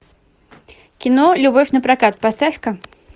кино любовь напрокат поставь ка